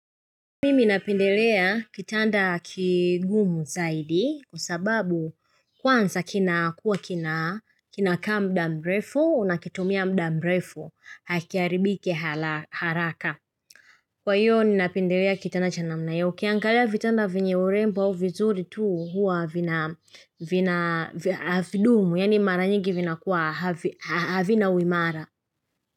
Mimi napendelea kitanda kigumu zaidi kwa sababu kwanza kina kuwa kina kinaka mdamrefu unakitumia mdamrefu hakiaribiki haraka Kwa hiyo ninapendelea kitanda cha na mnaiyouki angalia vitanda vyenyeurembo au vizuri tu hua vina havidumu yaani maranyingi vinakuwa havinauimara.